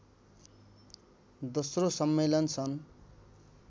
दोस्रो सम्मेलन सन्